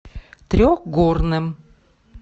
трехгорным